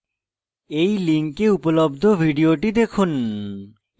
এই link উপলব্ধ video দেখুন